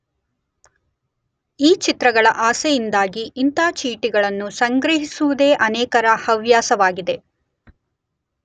ಈ ಚಿತ್ರಗಳ ಆಸೆಯಿಂದಾಗಿ ಇಂಥ ಚೀಟಿಗಳನ್ನು ಸಂಗ್ರಹಿಸುವುದೇ ಅನೇಕರ ಹವ್ಯಾಸವಾಗಿದೆ.